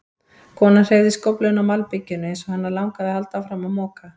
Konan hreyfði skófluna á malbikinu eins og hana langaði að halda áfram að moka.